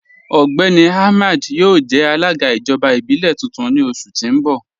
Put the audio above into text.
Ọgbẹ́ni Ahmed yọo jẹ̀ alaga ijọba ibilẹ̀ tuntun ni oṣù ti n bọ̀.